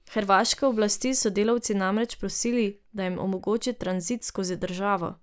Hrvaške oblasti so delavci namreč prosili, da jim omogoči tranzit skozi državo.